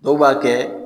Dɔw b'a kɛ